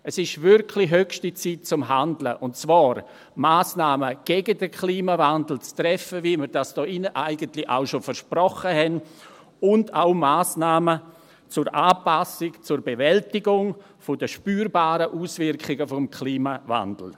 Es ist wirklich höchste Zeit zum Handeln und zwar, um Massnahmen gegen den Klimawandel zu treffen – wie wir das hier eigentlich auch schon versprochen haben – und auch Massnahmen zur Anpassung zur Bewältigung der spürbaren Auswirkungen des Klimawandels.